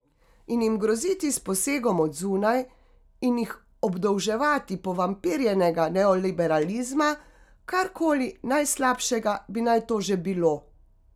In jim groziti s posegom od zunaj in jih obdolževati povampirjenega neoliberalizma, karkoli najslabšega bi naj to že bilo.